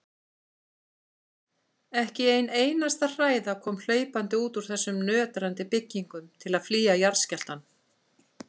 Ekki ein einasta hræða kom hlaupandi út úr þessum nötrandi byggingum til að flýja jarðskjálftann.